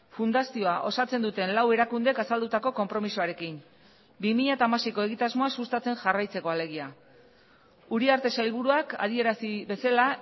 fundazioa osatzen duten lau erakundek azaldutako konpromisoarekin bi mila hamaseiko egitasmoa sustatzen jarraitzeko alegia uriarte sailburuak adierazi bezala